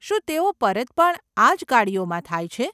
શું તેઓ પરત પણ આજ ગાડીઓમાં થાય છે?